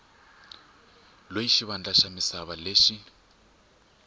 loyi xivandla xa misava lexi